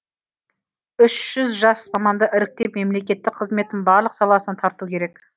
үш жүз жас маманды іріктеп мемлекеттік қызметтің барлық саласына тарту керек